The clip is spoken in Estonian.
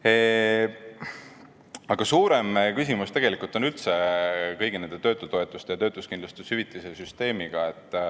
Aga tegelikult on suurem küsimus üldse kogu töötutoetuse ja töötuskindlustushüvitise süsteemiga.